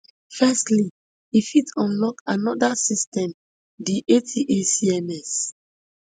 firstly e fit unlock anoda system di atacms